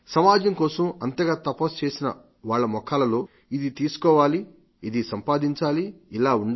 సమాజం కోసం అంతగా తపస్సు చేసి వాళ్ల ముఖాలలో ఇది తీసుకోవాలి ఇది సంపాదించాలి ఇలా ఉండాలి